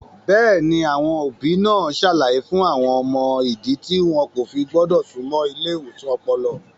Bẹ́ẹ̀ni, àwọn òbí náà ń ṣàlàyé fún àwọn ọmọ ìdí tí wọn kò fi gbọ́dọ̀ súnmọ́ ilé ìwòsàn ọpọlọ.